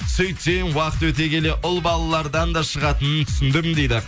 сүйтсем уақыт өте келе ұл балалардан да шығатынын түсіндім дейді